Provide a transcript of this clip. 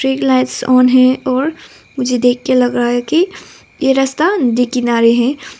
एक lights on है और मुझे देख के लग रहा है कि ये रास्ता नदी किनारे है।